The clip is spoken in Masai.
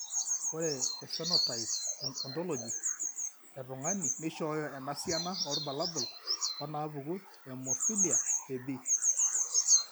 Ore ephenotype ontology etung'ani neishooyo enasiana oorbulabul onaapuku eHemophilia eB.